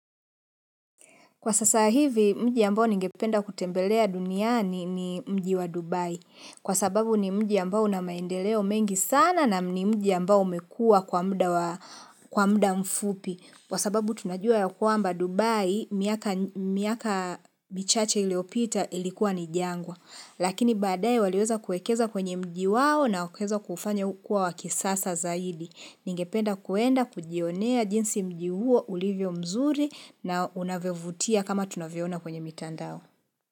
Kwa sasa hivi mji ambao ningependa kutembelea duniani ni mji wa Dubai. Kwa sababu ni mji ambao na maendeleo mengi sana na ni mji ambao umekua kwa mda mfupi. Kwa sababu tunajua ya kwamba Dubai miaka michache iliopita ilikuwa ni jangwa. Lakini badaye waliweza kuekeza kwenye mji wao na waka weza kufanya ukua wakisasa zadi. Ningependa kuenda kujionea jinsi mji huo ulivyo mzuri na unavyo vutia kama tunavyo ona kwenye mitandao.